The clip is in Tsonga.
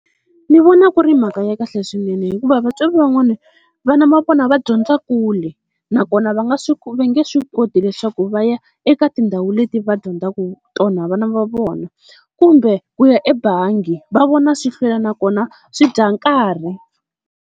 Ni vona ku ri mhaka ya kahle swinene hikuva vatswari van'wani vana va vona va dyondza kule, nakona va nga va nge swi koti leswaku va ya eka tindhawu leti va dyondzaka tona vana va vona, kumbe ku ya ebangi va vona swi hlwela nakona swi dya nkarhi.